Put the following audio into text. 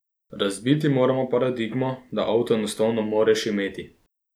Razbiti moramo paradigmo, da avto enostavno moreš imeti.